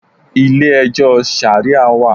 Ilé ẹjọ́ Ṣàríà wà.